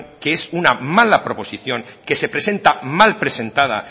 que es una mala proposición que se presenta mal presentada